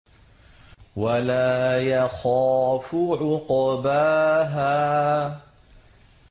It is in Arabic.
وَلَا يَخَافُ عُقْبَاهَا